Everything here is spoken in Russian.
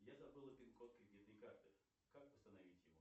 я забыла пин код кредитной карты как восстановить его